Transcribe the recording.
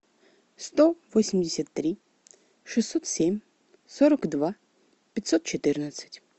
сто восемьдесят три шестьсот семь сорок два пятьсот четырнадцать